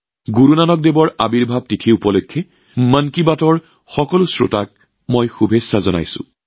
মন কী বাতৰ সকলো শ্ৰোতালৈ গুৰু নানক দেৱজীৰ প্ৰকাশ পৰ্ব উপলক্ষে মোৰ অশেষ শুভেচ্ছা জ্ঞাপন কৰিছোঁ